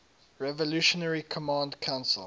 revolutionary command council